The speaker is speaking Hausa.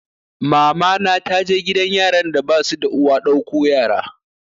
Mamana ta je gidan yaran da basu da uwa ɗauko yaro